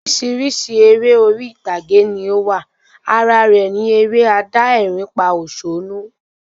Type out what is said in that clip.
Orísirísi eré orí ìtàgé ni o wa, ara rẹ ni eré adá ẹ̀rín pa òsónú